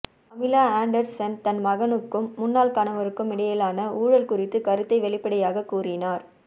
Pamela Anderson தன் மகனுக்கும் முன்னாள் கணவருக்கும் இடையிலான ஊழல் குறித்துக் கருத்தை வெளிப்படையாகக் கூறினார்